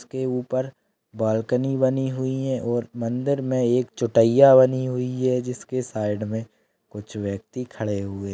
इसके उपर बाल्कनी बनी हुई है और मंदिर में एक चूटय्या बनी हुई है जिसके साइड में कुछ व्यक्ति खड़े हुए--